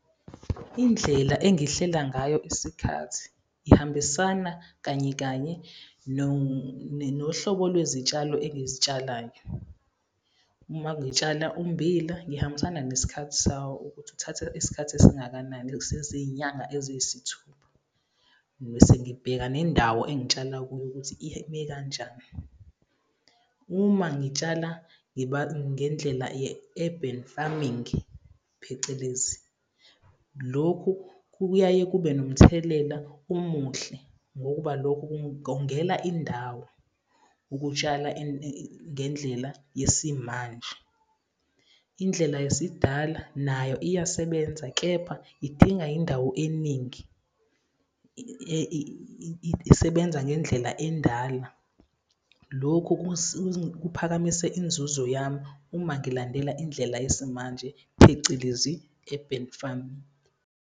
Indlela engihlela ngayo isikhathi ihambisana kanye kanye nohlobo lwezitshalo engizitshalayo. Uma ngitshala ummbila ngihambisana ngesikhathi sawo ukuthi kuthatha isikhathi esingakanani, seziy'nyanga eziyisithupha. Mese ngibheka nendawo engitshala kuyo ukuthi kanjani. Uma ngitshala ngiba ngendlela ye-urban farming, phecelezi lokhu kuyaye kube nomthelela omuhle, ngokuba lokhu kungongela indawo, ukutshala ngendlela yesimanje. Indlela yesidala nayo iyasebenza, kepha idinga indawo eningi, isebenza ngendlela endala. Lokhu kuphakamise inzuzo yami, uma ngilandela indlela yesimanje, phecelezi urban farming.